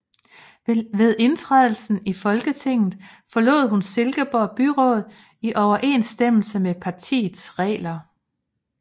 Ved indtrædelsen i Folketinget forlod hun Silkeborg Byråd i overensstemmelse med partiets regler